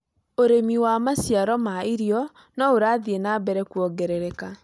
Ũrĩmi wa maciaro ma irio no ũrathiĩ na mbere kuongerereka